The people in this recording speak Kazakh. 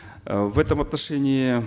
э в этом отношении